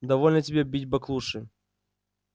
довольно тебе бить баклуши